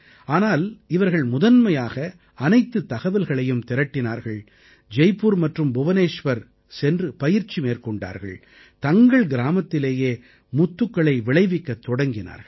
ஆனால் இவர்கள் முதன்மையாக அனைத்துத் தகவல்களையும் திரட்டினார்கள் ஜெய்புர் மற்றும் புவநேஸ்வர் சென்று பயிற்சி மேற்கொண்டார்கள் தங்கள் கிராமத்திலேயே முத்துக்களை விளைவிக்கத் தொடங்கினார்கள்